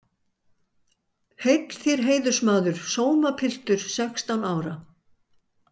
Heill þér heiðursmaður sómapiltur sextán ára.